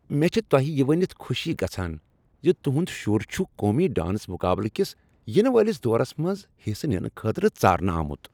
مےٚ چھےٚ تۄہہ یہ ؤنتھ خوشی گژھان ز تہنٛد شر چھ قومی ڈانس مقابلہٕ کس ینہٕ وٲلس دورس منٛز حصہٕ ننہٕ خٲطرٕ ژارنہٕ آمت۔